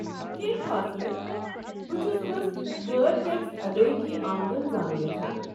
کٮ۪نٛہہ خاص نہٕ ، بہ چھٖس بس غٲر ٹیكس ادٲیگی آمدن زانن یژھان ۔